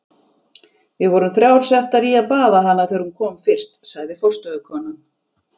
Við vorum þrjár settar í að baða hana þegar hún kom fyrst, sagði forstöðukonan.